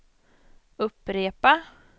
upprepa